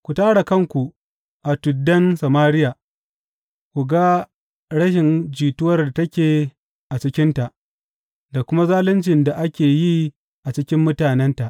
Ku tara kanku a tuddan Samariya; ku ga rashin jituwar da take a cikinta, da kuma zaluncin da ake yi a cikin mutanenta.